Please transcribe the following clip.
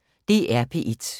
DR P1